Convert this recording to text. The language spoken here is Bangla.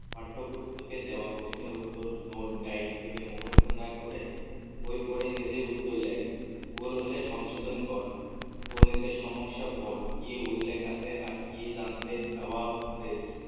পাঠ্য পুস্তকে দেওয়া প্রশ্নের উত্তর note gaide থেকে মুখস্থ না করে বই পরে নিজেই উত্তর লেখ ভুল হলে সংশোধন কর গণিতের সমস্যা পর কি উল্লেখ আছে আর কি জানতে দেওয়া হচ্ছে